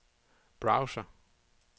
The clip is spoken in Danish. browser